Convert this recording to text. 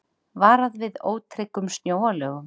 Varað við ótryggum snjóalögum